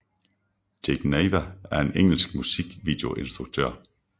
Jake Nava er en engelsk musikvideoinstruktør